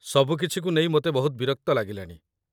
ସବୁ କିଛିକୁ ନେଇ ମୋତେ ବହୁତ ବିରକ୍ତ ଲାଗିଲାଣି ।